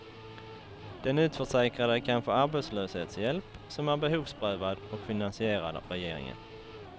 Den utförsäkrade kan få arbetslöshetshjälp, som är behovsprövad och finansierad av regeringen.